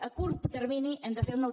a curt termini hem de fer un nou